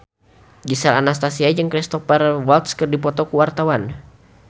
Gisel Anastasia jeung Cristhoper Waltz keur dipoto ku wartawan